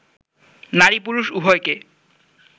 নারী-পুরুষ উভয়কে